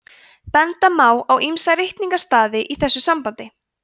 benda má á ýmsa ritningarstaði í þessu sambandi